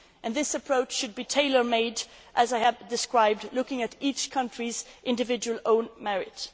This approach should be tailor made, as I have described, looking at each country on its individual